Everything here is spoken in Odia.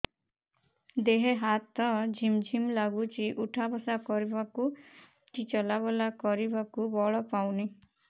ଦେହେ ହାତ ଝିମ୍ ଝିମ୍ ଲାଗୁଚି ଉଠା ବସା କରିବାକୁ କି ଚଲା ବୁଲା କରିବାକୁ ବଳ ପାଉନି